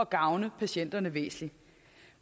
gavne patienterne væsentligt